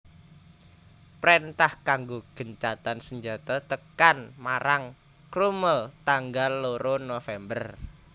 Préntah kanggo gencatan senjata tekan marang Crummel tanggal loro November